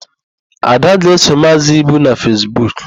Ada ga-eso Maazị Ibu na Fesbuk.